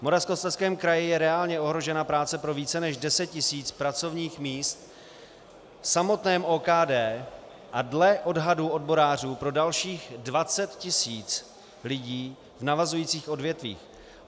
V Moravskoslezském kraji je reálně ohrožena práce pro více než 10 tisíc pracovních míst v samotném OKD a dle odhadu odborářů pro dalších 20 tisíc lidí v navazujících odvětvích.